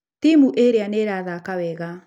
Timu ĩrĩa nĩ ĩrathaka wega.